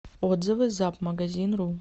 отзывы запмагазинру